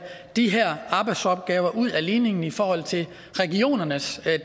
de her arbejdsopgaver ud af ligningen i forhold til regionernes